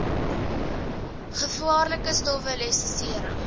gevaarlike stowwe lisensiëring